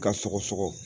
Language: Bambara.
Ka sɔgɔsɔgɔ